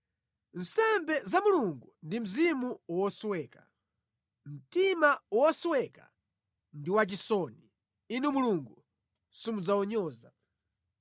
Nsembe za Mulungu ndi mzimu wosweka; mtima wosweka ndi wachisoni Inu Mulungu simudzawunyoza.